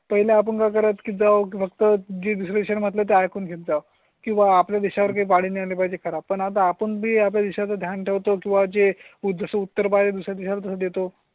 पहिले आपण करत कि झी विश्लेषण मला ते ऐकून जाऊ शकतं घेता किंवा आपल्या देशा वळले पाहिजे खरा. पण आता आपण मी आपल्या देशात ध्यान ठेवतो किंवा जे उत्तर बळ देतो.